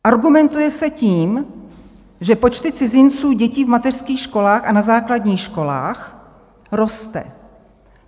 Argumentuje se tím, že počty cizinců-dětí v mateřských školách a na základních školách rostou.